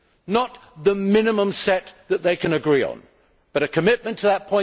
Not the minimum set that they can agree on, but a commitment to that